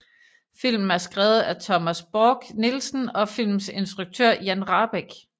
Filmen er skrevet af Thomas Borch Nielsen og filmens instruktør Jan Rahbek